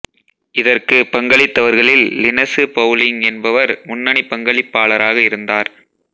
இதற்குப் பங்களித்தவர்களில் Linus Pauling என்பவர் முன்னணி பங்களிப்பாளராக இருந்தார்